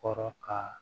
Kɔrɔ ka